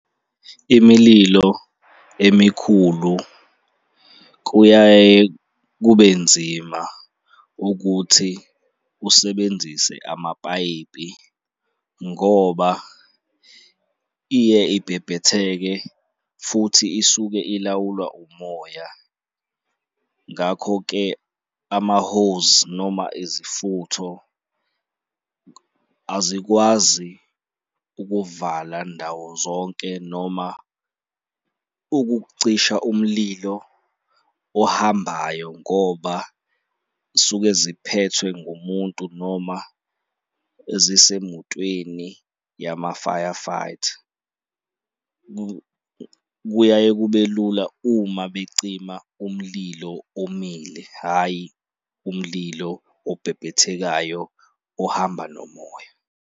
Imililo emikhulu kuyaye kube nzima ukuthi usebenzise amapayipi ngoba iye ibhebhetheke futhi isuke ilawulwa umoya. Ngakho-ke ama-hose noma izifutho azikwazi ukuvala ndawo zonke noma ukucisha umlilo ohambayo ngoba suke ziphethwe ngumuntu noma ezisemotweni yama-firefighter kuyaye kube lula uma becima umlilo omile hhayi umlilo obhebhethekayo ohamba nomoya.